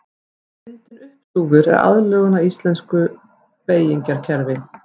Myndin uppstúfur er aðlögun að íslensku beygingarkerfi.